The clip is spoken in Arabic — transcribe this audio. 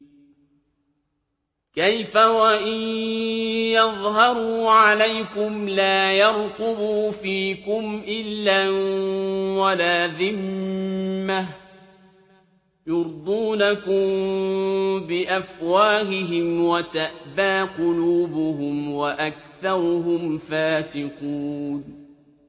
كَيْفَ وَإِن يَظْهَرُوا عَلَيْكُمْ لَا يَرْقُبُوا فِيكُمْ إِلًّا وَلَا ذِمَّةً ۚ يُرْضُونَكُم بِأَفْوَاهِهِمْ وَتَأْبَىٰ قُلُوبُهُمْ وَأَكْثَرُهُمْ فَاسِقُونَ